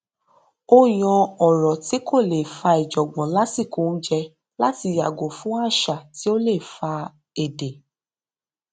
ó yan kókó ọrọ tí kò lè fà ìjọngbọn lásìkò oúnjẹ láti yàgò fún àṣà tí ó lè fa èdè